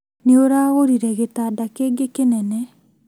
Nĩ ũragũrire gĩtanda kĩngĩ kĩnene